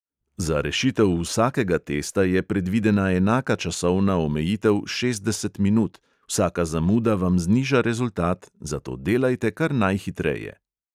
Za rešitev vsakega testa je predvidena enaka časovna omejitev šestdeset minut, vsaka zamuda vam zniža rezultat, zato delajte kar najhitreje.